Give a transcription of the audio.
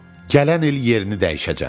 Gələn il yerini dəyişəcəm.